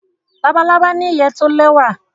Labalábá ní ìyè to lẹwa